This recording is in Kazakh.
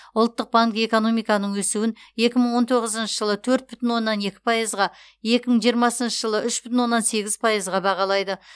ұлттық банк экономиканың өсуін екі мың он тоғызыншы жылы төрт бүтін оннан екі пайызға екі мың жиырмасыншы жылы үш бүтін оннан сегіз пайызға бағалайды